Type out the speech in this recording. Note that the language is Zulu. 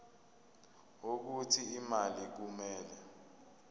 wokuthi imali kumele